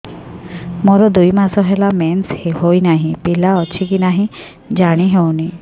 ମୋର ଦୁଇ ମାସ ହେଲା ମେନ୍ସେସ ହୋଇ ନାହିଁ ପିଲା ଅଛି କି ନାହିଁ ଜାଣି ହେଉନି